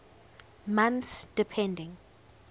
months depending